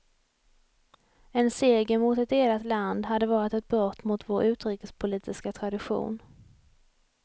En seger mot ett delat land hade varit ett brott mot vår utrikespolitiska tradition.